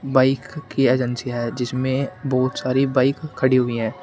Bike की agency है जिसमें बहोत सारी बाइक खड़ी हुई है।